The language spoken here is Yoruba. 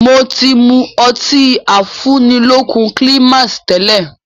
Mo ti mú ọtí afúnilókun Climax tẹ́lẹ̀